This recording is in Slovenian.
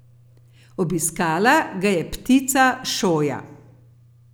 Obiskala ga je ptica šoja.